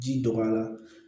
Ji dɔgɔyara